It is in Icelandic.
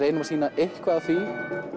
erum að sýna eitthvað af því